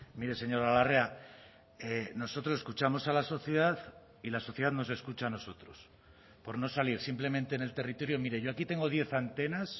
mire señora larrea nosotros escuchamos a la sociedad y la sociedad nos escucha a nosotros por no salir simplemente en el territorio mire yo aquí tengo diez antenas